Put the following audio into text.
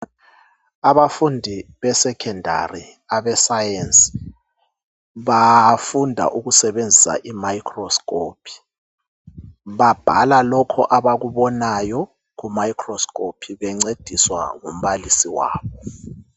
Abafundi beSekhondari abe"science "bafunda ukusebenzisa i "microscope ".Babhala lokhu abakubonayo ku"microscope " bencediswa ngumbalisi wabo.